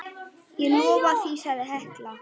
Ég lofa því, sagði Helga.